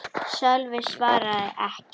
Sölvi svaraði ekki.